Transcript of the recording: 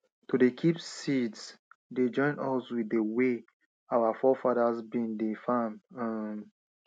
to dey kip seeds dey join us with dey way our forefathers bin dey farm um